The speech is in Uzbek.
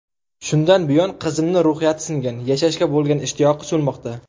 Shundan buyon qizimni ruhiyati singan, yashashga bo‘lgan ishtiyoqi so‘nmoqda.